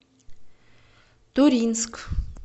туринск